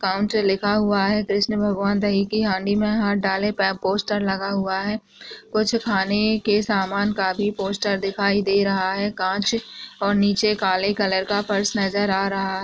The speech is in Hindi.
काउन्टर लिखा हुआ है कृष्ण भगवान दही के हांडी में हाथ डालें पे पोस्टर लगा हुआ है कुछ खाने के सामान का भी पोस्टर दिखाई दे रहा है कांच और नीचे काले कलर का पर्स नजर आ रहा है।